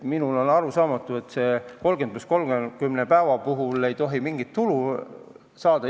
Minule on arusaamatu, et 30 + 30 päeva jooksul ei tohi mingit tulu saada.